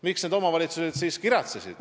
Miks need omavalitsused kiratsesid?